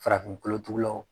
Farafin kolotugulaw